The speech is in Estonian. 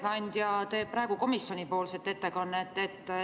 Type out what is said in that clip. Ma saan aru, et ettekandja teeb praegu komisjoni ettekannet.